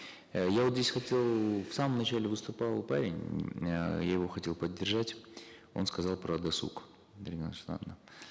э я вот здесь хотел в самом начале выступал парень ммм эээ я его хотел поддержать он сказал про досуг дарига нурсултановна